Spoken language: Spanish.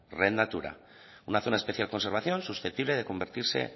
red natura una zona de especial conservación susceptible de convertirse